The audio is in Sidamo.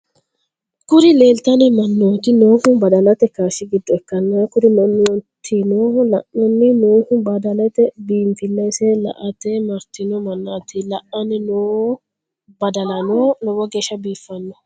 Kuri lelitano mannoti noohu baddalate kashsh gido ikana kuri mannotino la’anni noohu badhalte binifilese la’ate maritino mananti la’anni noo badalano lowo geshsha bifino.